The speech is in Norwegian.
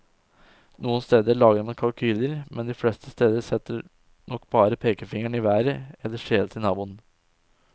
Noen steder lager man kalkyler, men de fleste steder setter nok bare pekefingeren i været eller skjeler til naboen.